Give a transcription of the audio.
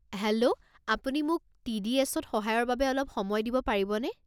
Hello আপুনি মোক T D S ত সহায়ৰ বাবে অলপ সময় দিব পাৰিবনে?